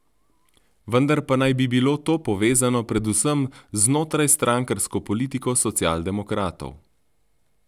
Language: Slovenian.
Vendar pa naj bi bilo to povezano predvsem z znotrajstrankarsko politiko socialdemokratov.